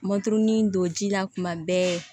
Maturuni don ji la kuma bɛɛ